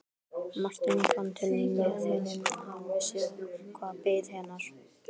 Marteinn fann til með henni, hann vissi hvað beið hennar.